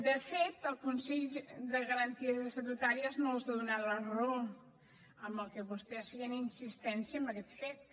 de fet el consell de garanties estatutàries no els ha donat la raó en el que vostès feien insistència en aquest fet